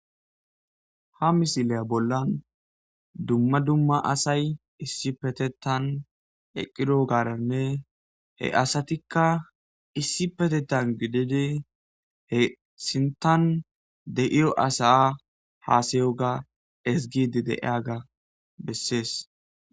Ha misiliya bollan dumma dumma asay issipetetan eqqido gaaranne he asatikka issipetetan gidide he sintan de7iyo asaa haasayoga ezgidi deeyaga bessees.